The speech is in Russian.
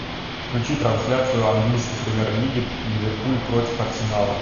включи трансляцию английской премьер лиги ливерпуль против арсенала